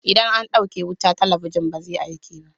Idan an ɗauke wuta, talabijin ba zai aiki ba.